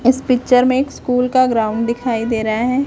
इस पिक्चर में एक स्कूल का ग्राऊंड दिखाई दे रहा है।